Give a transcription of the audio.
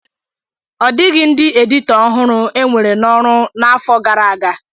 Ọ dịghị ndị editọ ọhụrụ enwere n'ọrụ n'afọ gara aga.